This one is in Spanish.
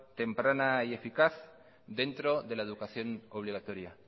temprana y eficaz dentro de la educación obligatoria